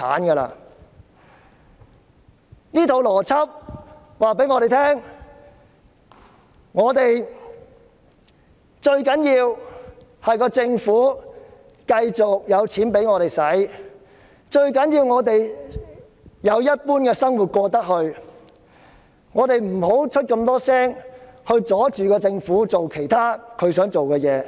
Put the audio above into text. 從她的邏輯可見，最重要的是政府繼續給市民金錢，讓他們可以如常生活，因此我們不應多言，阻礙政府做想做的事。